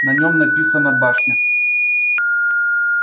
на нем написано башня